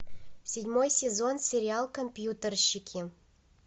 седьмой сезон сериал компьютерщики